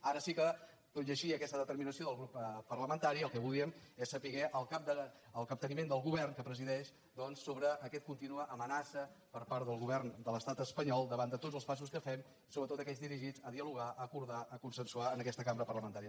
ara sí que tot i així i aquesta determinació del grup parlamentari el que volíem és saber el capteniment del govern que presideix sobre aquesta contínua amenaça per part del govern de l’estat espanyol davant de tots els passos que fem sobretot aquells dirigits a dialogar a acordar a consensuar en aquesta cambra parlamentària